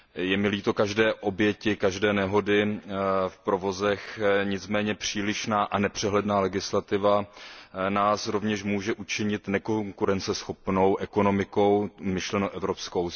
Je mi líto každé oběti, každé nehody v provozech, nicméně přílišná a nepřehledná legislativa z nás rovněž může učinit nekonkurenceschopnou ekonomikou, myšleno evropskou.